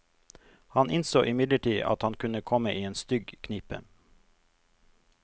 Han innså imidlertid at han kunne komme i en stygg knipe.